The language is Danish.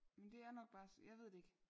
Men det er nok bare jeg ved det ikke